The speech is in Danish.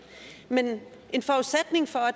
men en forudsætning for at